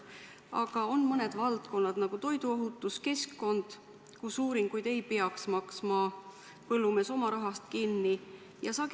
Samas on mõned valdkonnad – toiduohutus ja keskkond –, kus tehtavaid uuringuid ei peaks põllumees oma rahaga kinni maksma.